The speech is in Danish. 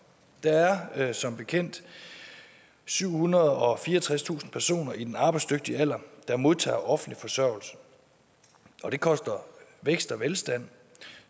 der er som bekendt syvhundrede og fireogtredstusind personer i den arbejdsdygtige alder der modtager offentlig forsørgelse og det koster vækst og velstand